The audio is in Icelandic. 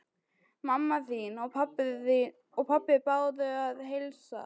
Mamma þín og pabbi báðu að heilsa.